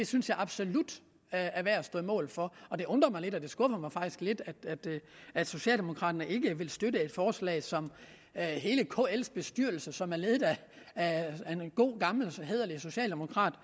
synes jeg absolut er værd at stå på mål for og det undrer mig lidt og det skuffer mig faktisk lidt at socialdemokraterne ikke vil støtte et forslag som hele kl’s bestyrelse som er ledet af en god gammel og hæderlig socialdemokrat